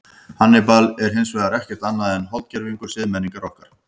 Hannibal er hins vegar ekkert annað en holdgervingur siðmenningar okkar.